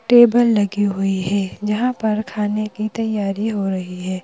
Table लगी हुई है जहाँ पर खाने की तैयारी हो रही है।